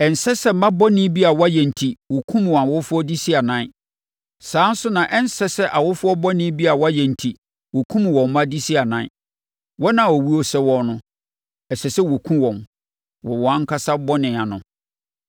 Ɛnsɛ sɛ mma bɔne bi a wɔayɛ enti wɔkum wɔn awofoɔ de si anan. Saa ara nso na ɛnsɛ sɛ awofoɔ bɔne bi a wɔayɛ enti wɔkum wɔn mma de si anan. Wɔn a owuo sɛ wɔn no, ɛsɛ sɛ wɔkum wɔn wɔ wɔn ankasa bɔne ano.